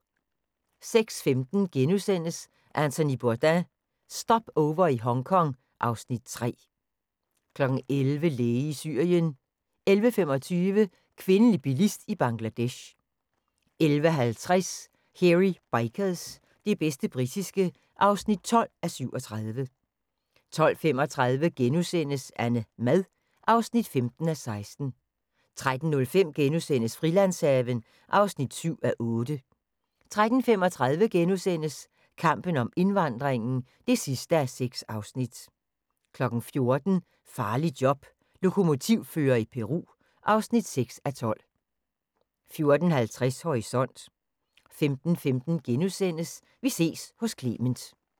06:15: Anthony Bourdain – Stopover i Hongkong (Afs. 3)* 11:00: Læge i Syrien 11:25: Kvindelig bilist i Bangladesh 11:50: Hairy Bikers – det bedste britiske (12:37) 12:35: AnneMad (15:16)* 13:05: Frilandshaven (7:8)* 13:35: Kampen om indvandringen (6:6)* 14:00: Farligt job - Lokomotivfører i Peru (6:12) 14:50: Horisont 15:15: Vi ses hos Clement *